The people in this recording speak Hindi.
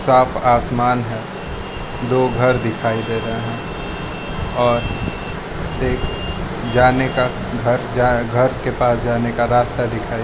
आप आसमान है दो घर दिखाई दे रहा है और एक जाने का घर जाएं घर के पास जाने का रास्ता दिखाइए--